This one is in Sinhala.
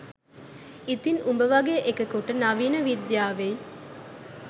ඉතින් උඹ වගේ එකෙකුට නවීන විද්‍යාවෙයි